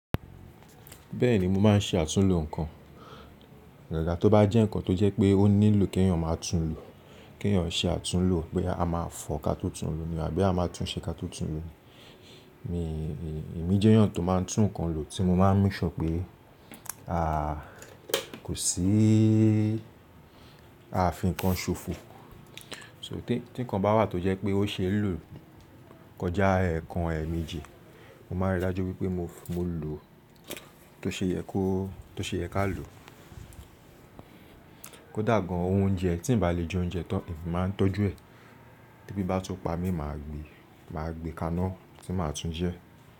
Bẹ́ẹ̀ni, mọ máa ń ṣe àtúnlo nǹkan. Àgàgà tó bá jẹ́ nǹkan tó jẹ́ pé ó nílò kí èèyàn máa tún lo, kí èèyàn ṣe àtúnlo pé a máa fọ kató tún lo ní àbí à máa tún ṣe kató tún lo ni. Mi, èmi jẹ́ èèyàn tó máa tún kan lo tí mo máa ń make sure pé, à, kò sí a fi nǹkan ṣòfò. So, tí nǹkan bá wà tó jẹ́ pé ó ṣe lọ kọjá ẹ̀ẹ̀kan ẹ̀meejì, mo máa ríi dájú pé mo, mo lò, tó ṣe yẹ kó, tó ṣe yẹ ká lò. Kódà gan oúnjẹ tí ǹ bá lè jẹ oúnjẹ tọ́, èmi máa ń tọ́jú ẹ̀ tebí bá tún pa mi, màá gbé, màá gbé kaná tí màá tún jẹ́.